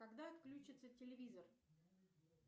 когда отключится телевизор